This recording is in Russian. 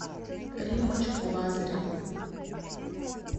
риммочку лазареву